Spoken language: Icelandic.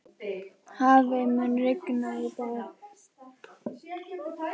Hafey, mun rigna í dag?